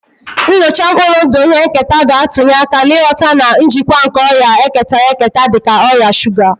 Nnyocha mkpụrụ ndụ ihe nketa ga-atụnye aka n'ịghọta na njikwa nke ọrịa ketara eketa dị ka ọrịa shuga